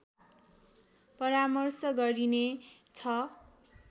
परामर्श गरिने छ